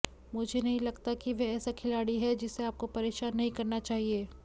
मुझे नहीं लगता कि वह ऐसा खिलाड़ी है जिसे आपको परेशान नहीं करना चाहिए